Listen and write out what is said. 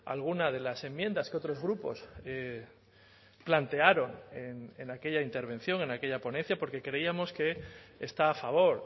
alguna de las enmiendas que otros grupos plantearon en aquella intervención en aquella ponencia porque creíamos que está a favor